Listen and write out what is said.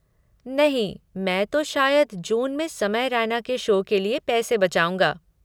नहीं, मैं तो शायद जून में समय रैना के शो के लिये पैसे बचाऊँगा।